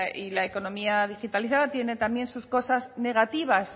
y la economía digitalizada tiene también sus cosas negativas